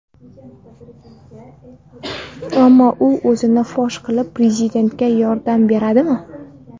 Ammo u o‘zini fosh qilib prezidentga yordam beradimi?